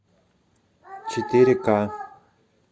четыре ка